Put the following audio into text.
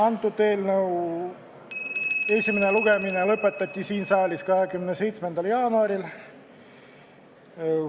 Antud eelnõu esimene lugemine lõpetati siin saalis 27. jaanuaril.